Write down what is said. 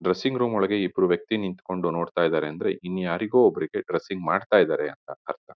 Dressing room ಒಳಗೆ ಇಬ್ರು ವ್ಯಕ್ತಿ ನಿಂತ್ಕೊಂಡು ನೋಡ್ತಾ ಇದಾರೆ ಅಂದ್ರೆ ಇನ್ ಯಾರಿಗೋ ಒಬ್ರಿಗೆ ಡ್ರೆಸ್ಸಿಂಗ್ ಮಾಡ್ತಾ ಇದ್ದಾರೆ ಅಂತ ಅರ್ಥ.